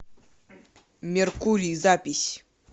меркурий запись